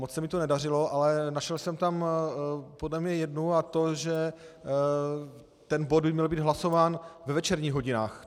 Moc se mi to nedařilo, ale našel jsem tam podle mě jednu, a to že ten bod by měl být hlasován ve večerních hodinách.